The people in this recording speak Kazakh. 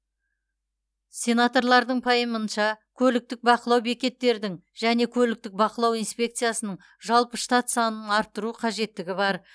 сенаторлардың пайымынша көліктік бақылау бекеттердің және көліктік бақылау инспекциясының жалпы штат санының арттыру қажеттігі бар